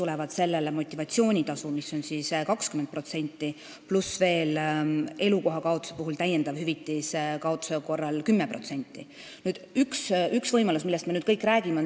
Lisaks sellele tuleb motivatsioonitasu, mis on 20%, elukoha kaotuse korral veel täiendav hüvitis 10%.